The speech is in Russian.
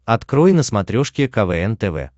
открой на смотрешке квн тв